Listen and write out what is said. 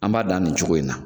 An b'a dan nin cogo in na